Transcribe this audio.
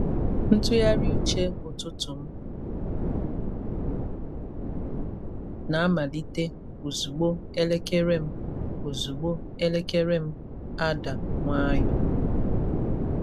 Ntụgharị uche ụtụtụ m na-amalite ozugbo elekere m ozugbo elekere m ada nwayọọ.